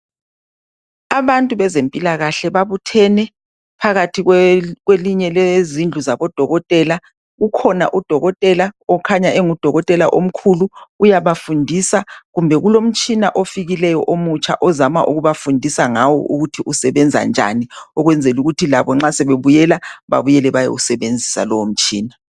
Abantu bezempilakahle babuthene phakathi kwelinye, lezindlu zabodokotela. Ukhona udokotela, okhanya engudokotela omkhulu, uyabafundisa. Kumbe kulomtshina ofikileyo omutsha ozama ukubafundisa ngawo, ukuthi usebenza njani. Ukwenzela ukuthi labo nxa sebebuyela. Babuyele, bayewusebenzisa lowomtshina.